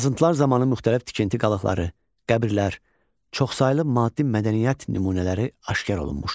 Qazıntılar zamanı müxtəlif tikinti qalıqları, qəbirlər, çoxsaylı maddi mədəniyyət nümunələri aşkar olunmuşdu.